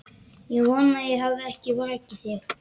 Ég vona ég hafi ekki vakið þig.